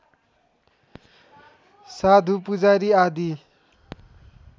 साधु पुजारी आदि